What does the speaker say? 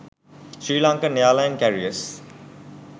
sri lankan airline careers